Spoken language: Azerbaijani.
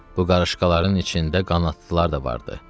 Bu qarışqaların içində qanadlılar da vardı.